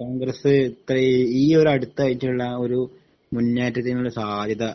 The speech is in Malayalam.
കോൺഗ്രസ് ഇത്രേം ഈ ഒരു അടുത്തായിട്ടുള്ള ആ ഒരു മുന്നേറ്റത്തിനുള്ള സാധ്യത